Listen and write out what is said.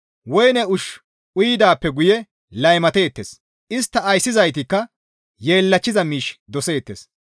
Woyne ushshu uyidaappe guye laymateettes. Istta ayssizaytikka yeellachchiza miish doseettes.